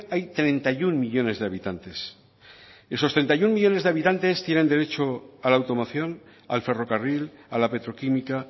hay treinta y uno millónes de habitantes esos treinta y uno millónes de habitantes tienen derecho a la automoción al ferrocarril a la petroquímica